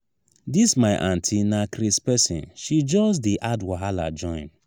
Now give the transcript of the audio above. dis my auntie na craze pesin she just just dey add wahala join.